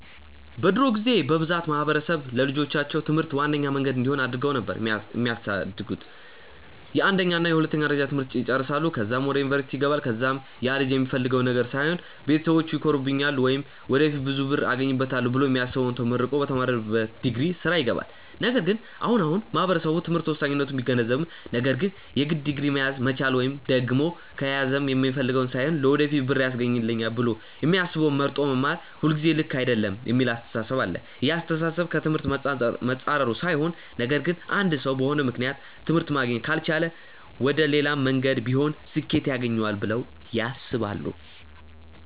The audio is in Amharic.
በድሮ ጊዜ በብዛት ማህበረሰብ ለልጆቻቸው ትምህርት ዋነኛ መንገድ እንዲሆን አድርገው ነበር የሚያሳድጉት፤ የአንደኛ እና የሁለተኛ ደረጃ ትምህርት ይጨረሳል ከዛም ወደ ዩኒቨርስቲ ይገባል ከዛም ያልጅ የሚፈልገውን ነገር ሳይሆን ቤተሰቢቼ ይኮሩብኛል ወይም ወደፊት ብዙ ብር አገኝበታለው ብሎ የሚያስበውን ተመርቆ በተማረበት ዲግሪ ስራ ይገባል። ነገር ግን አሁን አሁን ማህበረሰቡ ትምህርት ወሳኝነቱን ቢገነዘብም ነገር ግን የግድ ዲግሪ መያዝ መቻል ወይም ደግም ከያዘም የሚፈልገውን ሳይሆን ለወደፊት ብር ያስገኘኛል ብሎ የሚያስበውን መርጦ መማር ሁልጊዜ ልክ አይደለም የሚል አስተሳሰብ አለ። ይህ አስተሳሰብ ከ ትምህርት መፃረሩ ሳይሆን ነገር ግን አንድ ሰው በሆነ ምክንያት ትምህርት ማግኘት ካልቻለ መሌላም መንገድ ቢሆን ስኬት ያገኘዋል ብለው ያስባሉ።